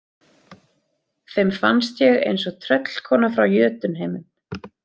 Þeim fannst ég eins og tröllkona frá Jötunheimum.